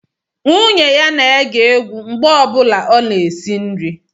Nwunye ya na-ege egwu mgbe ọ bụla ọ na-esi nri